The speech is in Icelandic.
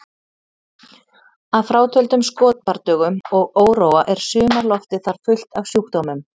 Að frátöldum skotbardögum og óróa er sumarloftið þar fullt af sjúkdómum